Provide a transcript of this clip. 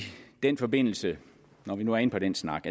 den forbindelse når vi nu er inde på den snak